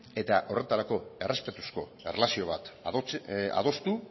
eta horretarako errespetuzko erlazio bat adostu